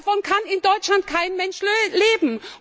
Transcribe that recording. Davon kann in Deutschland kein Mensch leben!